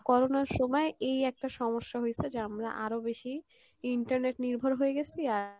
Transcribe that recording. Corona র সময়, এই এইটা সমস্যা হইসে যে আমরা আরো বেশি internet নির্ভর হয়ে গেসি